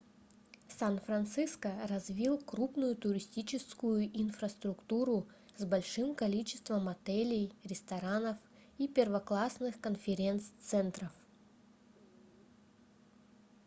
сан-франциско развил крупную туристическую инфраструктуру с большим количеством отелей ресторанов и первоклассных конференц-центров